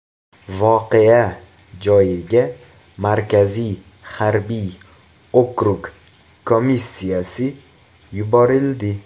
Voqea joyiga Markaziy harbiy okrug komissiyasi yuborildi.